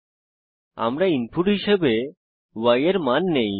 আমরা ব্যবহারকারীদের থেকে ইনপুট হিসেবে y এর মান নেই